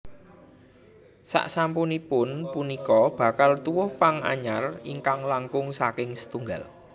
Sasampunipun punika bakal tuwuh pang anyar ingkang langkung saking setunggal